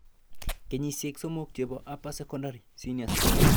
Kenyisiek somok chebo upper secondary (senior school)